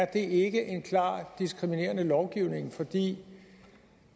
det ikke er en klart diskriminerende lovgivning fordi